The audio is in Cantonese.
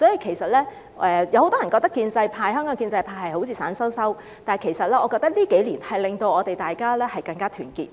其實，很多人覺得香港建制派好像一盆散沙，但我覺得這幾年令我們更加團結。